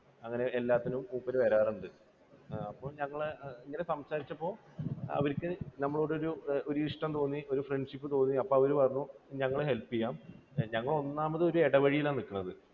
അതിന് എല്ലാത്തിനും മൂപ്പർ വരാറുണ്ട്. അപ്പോൾ ഞങ്ങൾ ഇങ്ങനെ സംസാരിച്ചപ്പോൾ അവർക്ക് നമ്മളോട് ഒരു ഇഷ്ടം തോന്നി, ഒരു friendship തോന്നി അപ്പോൾ അവർ പറഞ്ഞു ഞങ്ങൾ help ചെയ്യാം, ഞങ്ങൾ ഒന്നാമത് ഒരു ഇടവഴിയിൽ ആണ് നിൽക്കുന്നത്